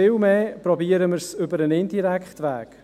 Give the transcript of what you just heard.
Vielmehr sagt er: «Versuchen wir es über den indirekten Weg.